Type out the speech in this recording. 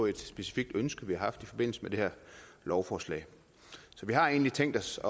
et specifikt ønske vi har haft i forbindelse med det her lovforslag så vi har egentlig tænkt os